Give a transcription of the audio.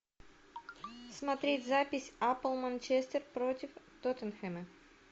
смотреть запись апл манчестер против тоттенхэма